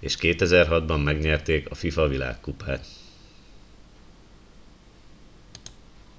és 2006 ban megnyerték a fifa világkupát